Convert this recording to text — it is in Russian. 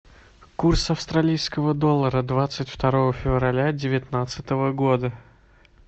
курс австралийского доллара двадцать второго февраля девятнадцатого года